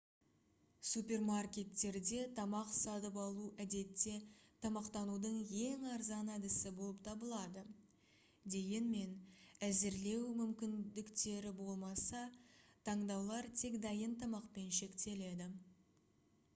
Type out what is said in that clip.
супермаркеттерде тамақ сатып алу әдетте тамақтанудың ең арзан әдісі болып табылады дегенмен әзірлеу мүмкіндіктері болмаса таңдаулар тек дайын тамақпен шектеледі